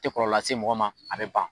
Te kɔlɔ lase mɔgɔ ma a be ban